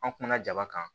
An kumana jaba kan